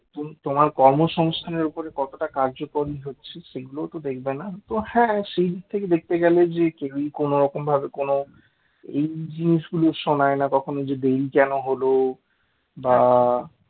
তোমার কর্মসংস্থানের উপর কতটা কার্যকরী হচ্ছে সেটাও তো দেখবে না তো হ্যাঁ সেই দিক থেকে দেখতে গেলে যে কেউই কোন রকম ভাবে কোন এই জিনিসগুলো শোনায় না যে কখনো দেরি কেন হল বা